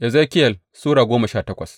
Ezekiyel Sura goma sha takwas